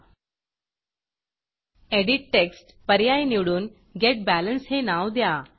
edit textएडिट text पर्याय निवडून गेट Balanceगेट बॅलेन्स हे नाव द्या